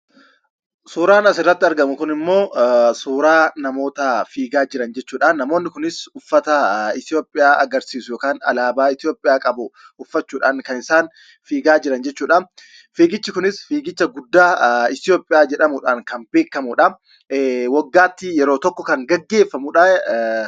Suuraan as irratti argamuu kun immoo, suuraa namoota fiigaa jiraan jechuudha. Namooni kunis ufaata Itoophiyaa agarsisuu yookaan Alabaa Itoophiyaa qabu uffachuudhaan kan isaan fiigaa jiraan jechuudha. Fiigichii kunis fiigiicha guddaa Itoophiyaa jedhamuudhaan kan beekamudha. Waggaatti yeroo tokko kan geggeefaamuudha.